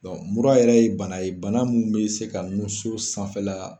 mura yɛrɛ ye bana ye, bana min bɛ se ka nuso sanfɛla